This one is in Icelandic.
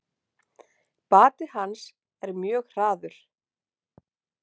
Bati hans er mjög hraður.